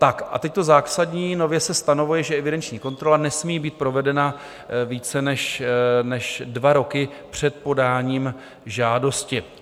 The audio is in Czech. Tak a teď to zásadní: nově se stanovuje, že evidenční kontrola nesmí být provedena více než dva roky před podáním žádosti.